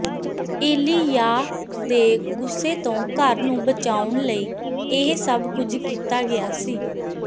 ਏਲੀਯਾਹ ਦੇ ਗੁੱਸੇ ਤੋਂ ਘਰ ਨੂੰ ਬਚਾਉਣ ਲਈ ਇਹ ਸਭ ਕੁਝ ਕੀਤਾ ਗਿਆ ਸੀ